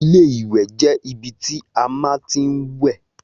Ilé ìwè jé ibi tí a má ti ń wè